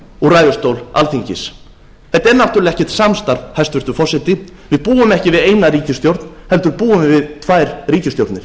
úr ræðustól alþingis þetta er náttúrlega ekkert samstarf hæstvirtur forseti við búum ekki við eina ríkisstjórn heldur búum við við tvær ríkisstjórnir